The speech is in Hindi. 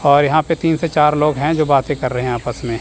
और यहां पे तीन से चार लोग है जो बातें कर रहे है आपस में।